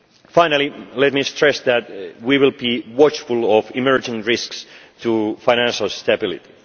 market. Finally, let me stress that we will be watchful of emerging risks to financial stability.